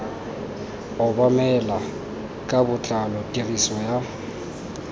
obamelwa ka botlalo tiriso ya